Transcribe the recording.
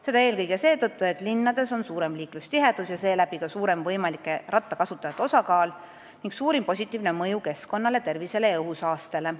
Seda eelkõige seetõttu, et linnades on nii liiklustihedus kui ka võimalike rattakasutajate osakaal suurem, mis avaldaks suurt positiivset mõju keskkonnale, parandaks tervist ja vähendaks õhusaastet.